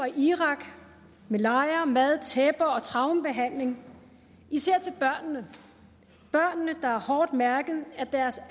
i irak med lejre mad tæpper og traumebehandling især til børnene der er hårdt mærket af deres